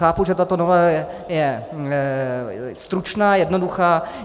Chápu, že tato novela je stručná, jednoduchá.